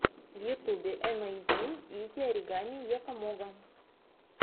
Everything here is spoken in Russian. в ютубе эмэйзин изи оригами якомога